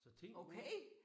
Så tænk nu